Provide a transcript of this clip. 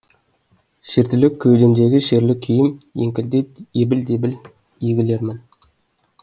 шертіліп кеудемдегі шерлі күйім еңкілдеп ебіл дебіл егілермін